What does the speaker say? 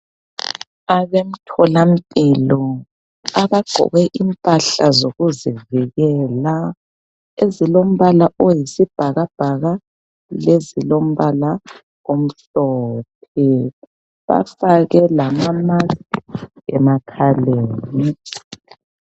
Abemtholampilo abagqoke impahla zokuzivikela ezilombala oyisibhakabhaka lezilombala omhlophe. Bafake lama mask emakhaleni.